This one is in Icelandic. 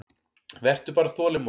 Vertu bara þolinmóð.